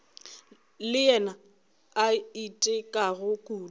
le yena a itekago kudu